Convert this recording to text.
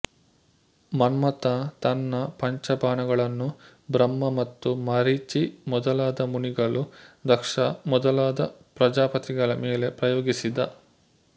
ಮನ್ಮಥ ತನ್ನ ಪಂಚಬಾಣಗಳನ್ನು ಬ್ರಹ್ಮ ಮತ್ತು ಮರೀಚಿ ಮೊದಲಾದ ಮುನಿಗಳು ದಕ್ಷ ಮೊದಲಾದ ಪ್ರಜಾಪತಿಗಳ ಮೇಲೆ ಪ್ರಯೋಗಿಸಿದ